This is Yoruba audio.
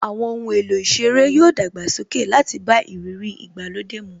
Àwọn ohun èlò ìṣeré yoo dàgbàsókè láti bá ìrírí ìgbàlódé mu